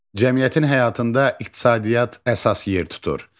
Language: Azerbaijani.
Cəmiyyətin həyatında iqtisadiyyat əsas yer tutur.